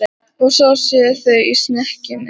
Og svo séu þau í snekkjunni.